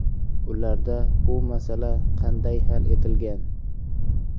Ularda bu masala qanday hal etilgan?